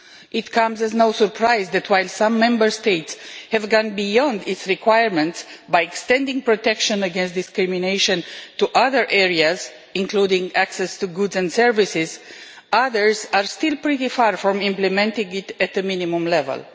It comes as no surprise that, while some Member States have gone beyond its requirement by extending protection against discrimination to other areas, including access to goods and services, others are still pretty far from implementing it at the minimum level.